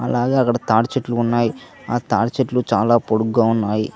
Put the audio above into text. అలాగే అక్కడ తాటి చెట్లు ఉన్నాయి ఆ తాటి చెట్లు చాలా పొడుగ్గా ఉన్నాయి